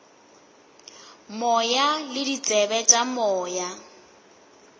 moya le ditsebe tša moya